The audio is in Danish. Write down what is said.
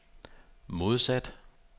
modsat